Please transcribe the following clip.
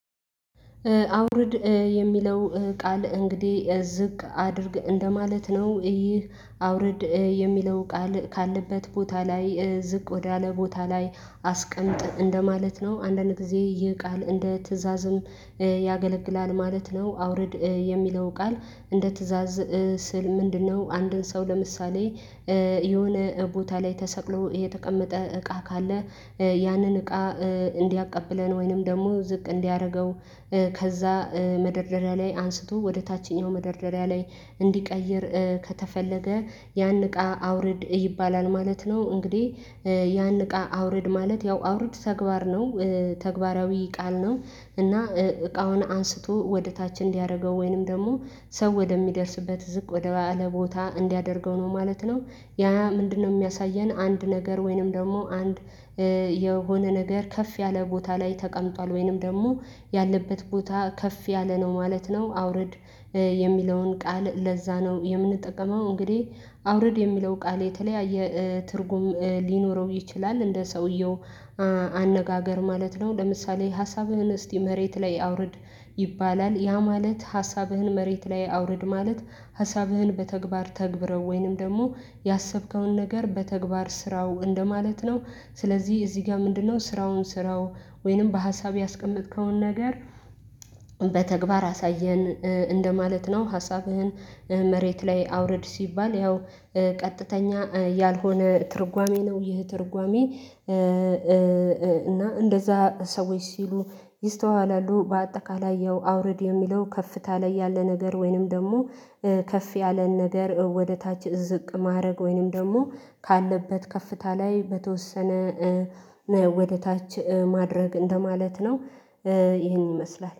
አውርድ የሚለው ቃል እንግዲህ ዝቅ አድርግ እንደማለት ነው። ይህ አውርድ የሚለው ቃል ካለበት ቦታ ላይ ዝቅ ወዳለ ቦታ ላይ አስቀምጥ እንደማለት ነው። አንዳንድ ጊዜ ይህ ቃል እንደ ትእዛዝም ያገለግላል ማለት ነው። አውርድ የሚለው ቃል እንደ ትእዛዝ ስል ምንድነው? አንድን ሰው ለምሳሌ የሆነ ቦታ ላይ ተሰቅሎ የተቀመጠ እቃ ካለ ያንን እቃ እንዲያቀብለን ወይንም ደግሞ ዝቅ እንዲያደርገው። ከዛ መደርደሪያ ላይ አንስቶ ወደ ታችኛው መደርደሪያ ላይ እንዲቀይር ከተፈለገ ያን እቃ አውርድ ይባላል ማለት ነው። እንግዲህ ያን እቃ አውርድ ማለት ያው አውርድ ተግባር ነው ተግባራዊ ቃል ነው። እና እቃውን አንስቶ ወደ ታች እንዲያደርገው ወይንም ደግሞ ሰው ወደሚደርስበት ዝቅ ወደ በዓለ ቦታ እንዲያደርገው ነው ማለት ነው። ያ ምንድነው የሚያሳየን አንድ ነገር ወይንም ደግሞ አንድ የሆነ ነገር ከፍ ያለ ቦታ ላይ ተቀምጧል ወይንም ደግሞ ያለበት ቦታ ከፍ ያለ ነው ማለት ነው። አውርድ የሚለውን ቃል ለዛ ነው የምንጠቀመው። እንግዲህ አውርድ የሚለው ቃል የተለያየ ትርጉም ሊኖረው ይችላል እንደ ሰውየው አነጋገር ማለት ነው። ለምሳሌ ሀሳብህን እስቲ መሬት ላይ አውርድ ይባላል ያ ማለት ሀሳብህን መሬት ላይ አውርድ ማለት ሀሳብህን በተግባር ተግብረው ወይንም ደግሞ ያሰብከውን ነገር በተግባር ስራው እንደማለት ነው። ስለዚህ እዚህ ጋር ምንድነው ስራውን ስራው ወይንም በሀሳብ ያስቀመጥከውን ነገር በተግባር አሳየን እንደማለት ነው። ሀሳብህን መሬት ላይ አውርድ ሲባል ያው ቀጥተኛ ያልሆነ ትርጓሜ ነው። ይህ ትርጓሜ እና እንደዛ ሰዎች ሲሉ ይስተዋላሉ። በአጠቃላይ ያው አውረድ የሚለው ከፍታ ላይ ያለ ነገር ወይንም ደግሞ ከፍ ያለ ነገር ወደ ታች ዝቅ ማድረግ ወይንም ደግሞ ካለበት ከፍታ ላይ በተወሰነ ወደ ታች ማድረግ እንደማለት ነው። ይሄን ይመስላል